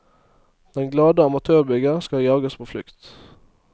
Den glade amatørbygger skal jages på flukt.